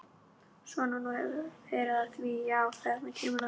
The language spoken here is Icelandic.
Svo þú hefur verið að því já, þarna kom það.